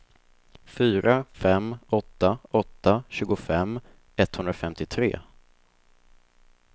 fyra fem åtta åtta tjugofem etthundrafemtiotre